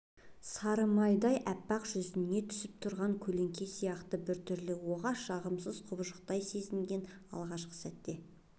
самардай аппақ жүзіне түсіп тұрған көлеңке сияқты бір түрлі оғаш жарасымсыз құбыжықтай сезінген алғашқы сәтте